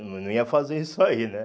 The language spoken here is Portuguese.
Não não ia fazer isso aí, né?